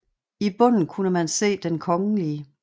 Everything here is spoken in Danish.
I bunden kunne man se Den Kgl